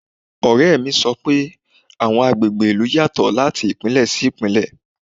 Ọ̀rẹ́ mi sọ pé àwọn agbègbè ìlú yàtọ̀ láti Ìpínlẹ̀ sí Ìpínlẹ̀.